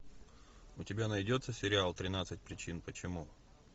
у тебя найдется сериал тринадцать причин почему